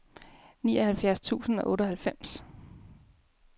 nioghalvfjerds tusind og otteoghalvfems